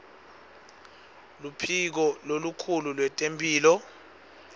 luphiko lolukhulu lwetemphilo